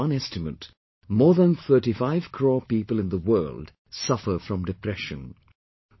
According to one estimate, more than 35 crore people in the world suffer from depression